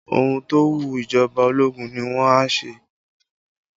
Ohun tó wu ìjọba ológun ni wọn a ṣe